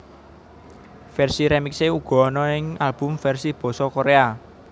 Versi remixe uga ana ing album versi basa Korea